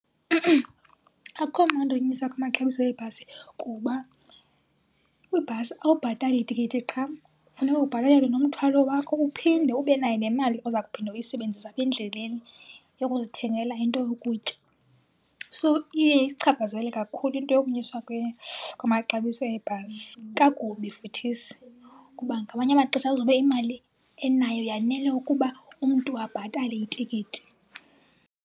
Akukho mandi unyuswa kwamaxabiso ebhasi kuba kwibhasi awubhatali tikiti qha, funeka ubhatalele nomthwalo wakho uphinde ube nayo nemali oza kuphinde uyisebenzise apha endleleni yokuzithengela into yokutya. So iye isichaphazele kakhulu into yokunyuswa kwamaxabiso ebhasi, kakubi futhisi. Kuba ngamanye amaxesha kuzobe imali eninayo yanele ukuba umntu abhatale itikiti.